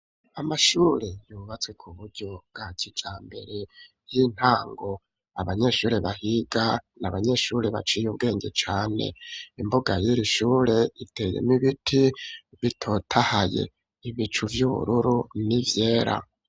Amashure yubatse ku buryo bwa kijambere y'intango abanyeshure bahiga n'abanyeshure baciye ubwenge cane, imbuga yi shure iteyemwo ibiti bitotahaye ibicu vy'ubururu n'ivyera.